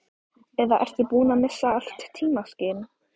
Eða ertu búinn að missa allt tímaskyn?